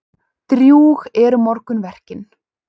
Drjúg eru morgunverkin.